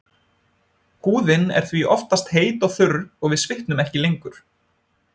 Húðin er því oftast heit og þurr og við svitnum ekki lengur.